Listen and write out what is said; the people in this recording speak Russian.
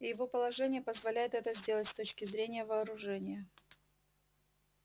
и его положение позволяет это сделать с точки зрения вооружения